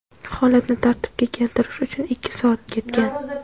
Holatni tartibga keltirish uchun ikki soat ketgan.